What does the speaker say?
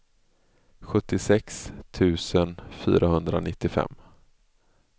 sjuttiosex tusen fyrahundranittiofem